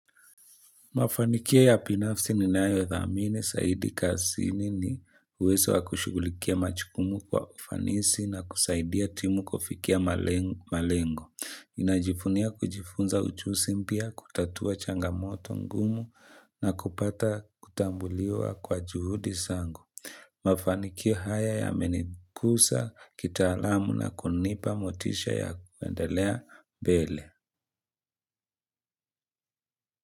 Mafanikio ya binafsi ninayodhamini zaidi kazini uwezo wa kushughulikia majukumu kwa ufanisi na kusaidia timu kufikia malengo. Ninajivunia kujifunza ujusi mpya, kutatua changamoto ngumu na kupata kutambuliwa kwa juhudi zangu. Mafanikio haya yamenikuza, kitaalamu na kunipa motisha ya kuendelea mbele.